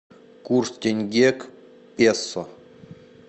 курс тенге к песо